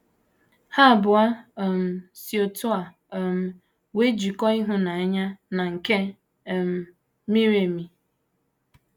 Ha abụọ um si otú a um nwee njikọ ịhụnanya na nke um miri emi.